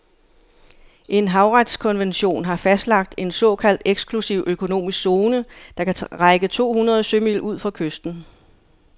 En havretskonvention har fastlagt en såkaldt eksklusiv økonomisk zone, der kan række to hundrede sømil ud fra kysten.